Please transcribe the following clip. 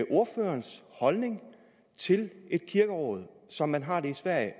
ordførerens holdning til et kirkeråd som man har det i sverige